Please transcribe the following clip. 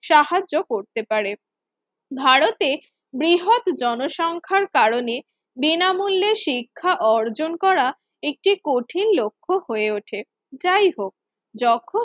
সাহায্য করতে পারে। ভারতে বৃহৎ জনসংখ্যার কারণে বিনামূল্য শিক্ষা অর্জন করা এটি কঠিন লক্ষ্য হয়ে ওঠে। যাই হোক যখন